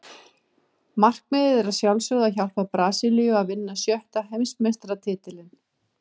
Markmiðið er að sjálfsögðu að hjálpa Brasilíu að vinna sjötta Heimsmeistaratitilinn.